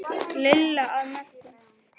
Lilla að Möggu.